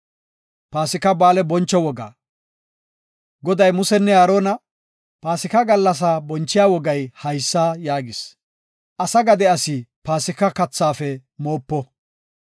Goday Musenne Aarona, “Paasika gallasaa bonchiya wogay haysa yaagis; asa gade asi paasika kathaafe moopo.